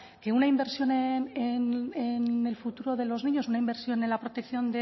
que una inversión en el futuro de los niños una inversión en la protección